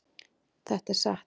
Þetta er satt.